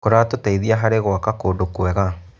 Kĩratũteithia harĩ gwaka kũndũ kwega.